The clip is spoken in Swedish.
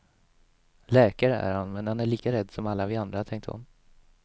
Läkare är han men han är lika rädd som alla vi andra, tänkte hon.